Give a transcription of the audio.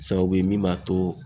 Sababu ye min b'a to